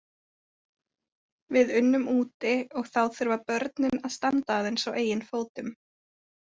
Við unnum úti og þá þurfa börnin að standa aðeins á eigin fótum.